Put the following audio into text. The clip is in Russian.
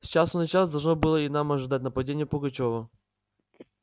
с часу на час должно было и нам ожидать нападения пугачёва